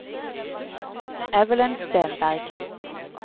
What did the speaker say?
Evelyn Stenberg